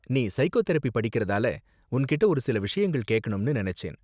நீ சைக்கோதெரபி படிக்கறதால, உன்கிட்டே ஒரு சில விஷயங்கள் கேக்கணும்னு நினைச்சேன்.